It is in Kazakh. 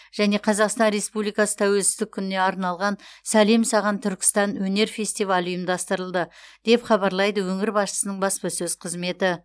және қазақстан республикасы тәуелсіздік күніне арналған сәлем саған түркістан өнер фестивалі ұйымдастырылды деп хабарлайды өңір басшысының баспасөз қызметі